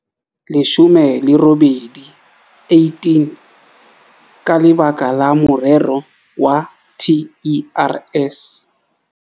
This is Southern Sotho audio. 18 ka lebaka la morero wa TERS.